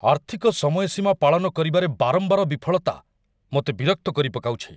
ଆର୍ଥିକ ସମୟସୀମା ପାଳନ କରିବାରେ ବାରମ୍ବାର ବିଫଳତା ମୋତେ ବିରକ୍ତ କରିପକାଉଛି।